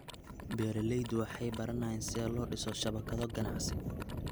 Beeraleydu waxay baranayaan sida loo dhiso shabakado ganacsi.